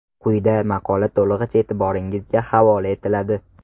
Quyida maqola to‘lig‘icha e’tiboringizga havola etiladi.